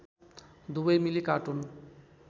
दुबै मिली कार्टुन